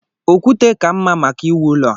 Okwute ka mma maka ị wụ ụlọ a.